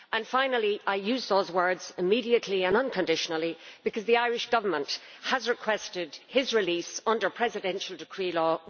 Finally, I use those words immediately and unconditionally' because the Irish Government has requested his release under Presidential Decree Law